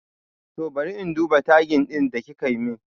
Toh bari in duba tagin ɗin da kikamin